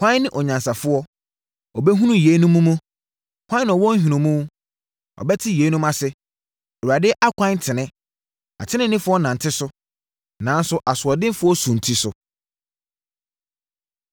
Hwan ne onyansafoɔ? Ɔbɛhunu yeinom mu. Hwan na ɔwɔ nhunumu? Ɔbɛte yeinom ase. Awurade akwan tene. Ateneneefoɔ nante so, nanso asoɔdenfoɔ sunti so.